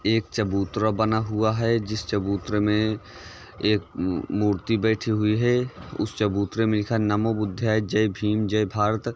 एक चबूतरा बना हुआ है जिस चबूतरे मे एक मूर्ति बैठी हुई है उस चबूतरे में लिखा है नमो बुद्धाय जय भीम जय भारत।